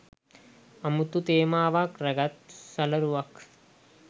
අමුතු තේමාවක් රැගත් සලරුවක්